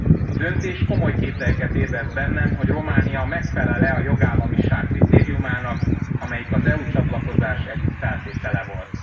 A döntés komoly kételyeket ébreszt bennem, hogy Románia megfelel e a jogállamiság kritériumának, amelyik az EU csatlakozás egyik feltétele volt.